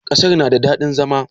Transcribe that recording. Ƙasar na da daɗin zama?